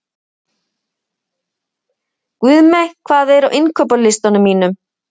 Guðmey, hvað er á innkaupalistanum mínum?